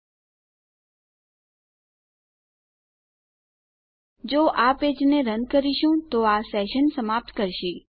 જો આપણે આ પેજને રન કરીશું તો આ સેશન સમાપ્ત કરશે